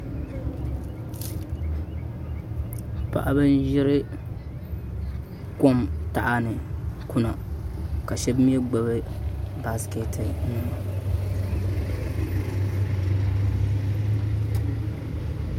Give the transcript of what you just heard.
Paɣaba n ʒiri kok taha ni kuna ka shab mii gbubi baskɛt nima